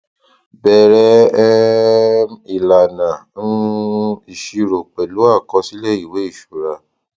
bẹrẹ um ìlànà um ìṣirò pẹlú àkọsílẹ ìwé ìṣura